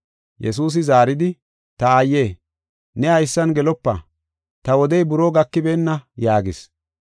Yesuusi zaaridi, “Ta aaye, ne haysan gelopa? Ta wodey buroo gakibeenna” yaagis.